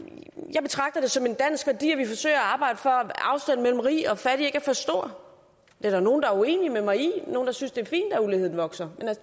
jeg betragter det som en dansk værdi at vi forsøger at arbejde for at afstanden mellem rig og fattig ikke er for stor det er der nogle der er uenige med mig i nogle der synes det er fint at uligheden vokser